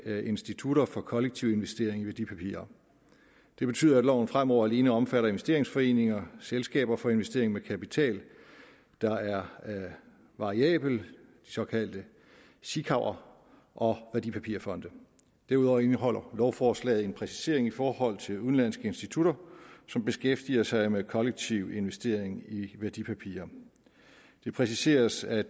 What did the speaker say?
institutter for kollektiv investering i værdipapirer det betyder at loven fremover alene omfatter investeringsforeninger selskaber for investering med kapital der er variabel de såkaldte sikaver og værdipapirfonde derudover indeholder lovforslaget en præcisering i forhold til udenlandske institutter som beskæftiger sig med kollektiv investering i værdipapirer det præciseres at